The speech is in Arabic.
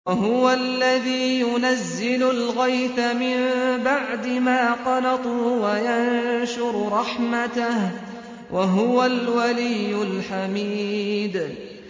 وَهُوَ الَّذِي يُنَزِّلُ الْغَيْثَ مِن بَعْدِ مَا قَنَطُوا وَيَنشُرُ رَحْمَتَهُ ۚ وَهُوَ الْوَلِيُّ الْحَمِيدُ